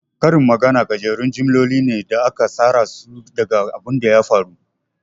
Karin magana gajerun jimloli ne da aka tsarasu daga abunda ya faru.